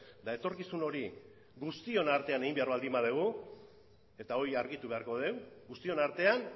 eta etorkizun hori guztion artean egin behar baldin badugu eta hori argitu beharko dugu guztion artean